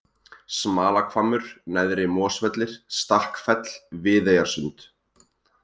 Smalahvammur, Neðri-Mosvellir, Stakkfell, Viðeyjarsund